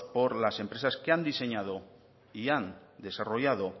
por las empresas que han diseñado y han desarrollado